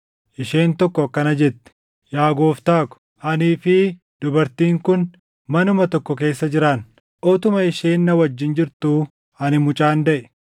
Isheen tokko akkana jette; “Yaa Gooftaa ko, anii fi dubartiin kun manuma tokko keessa jiraanna. Utuma isheen na wajjin jirtuu ani mucaan daʼe.